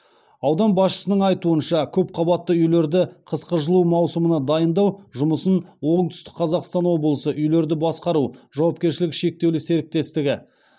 аудан басшысының айтуынша көпқабатты үйлерді қысқы жылу маусымына дайындау жұмысын оңтүстік қазақстан облысы үйлерді басқару жауапкершілігі шектеулі серіктестігі